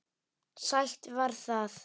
Sætt var það.